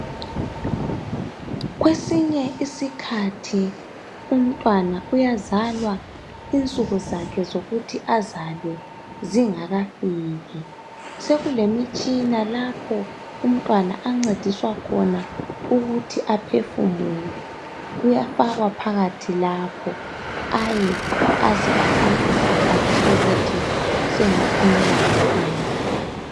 kwesinye isikhahi umntwana uyazalwa insuku zakhe zokuthi azalwe zingakafiki sekulemitshina lapho umntwana ancediswa khona ukuthi aphefumule uyafakwa phakathi lapho aye aze afike isikhathi sokuthi aphumele ngaphandle